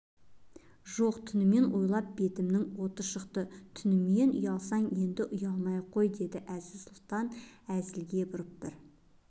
жоқ түнімен ойлап бетімнің оты шықты түнімен ұялсаң енді ұялмай-ақ қой дедң әзиз-сұлтан әзілге бұрып бір